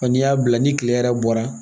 N'i y'a bila ni kile yɛrɛ bɔra